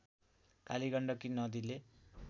कालीगण्डकी नदीले